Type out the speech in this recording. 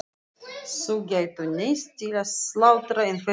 Þau gætu neyðst til að slátra einhverjum kúm.